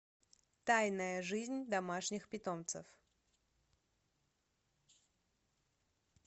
тайная жизнь домашних питомцев